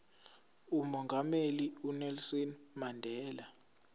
umongameli unelson mandela